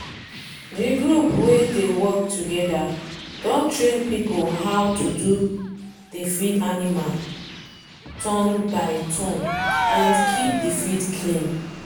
the group wey dey work togeda don train people how to do dey feed animal turn-by-turn and keep the field clean.